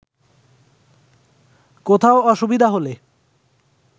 কোথাও অসুবিধা হলে